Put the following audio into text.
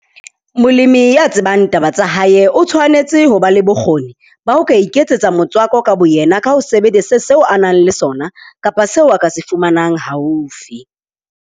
Molemi ya tsebang taba tsa hae o tshwanetse ho ba le bokgoni ba ho ka iketsetsa motswako ka boyena ka ho sebedisa seo a nang le sona kapa seo a ka se fumanang haufi.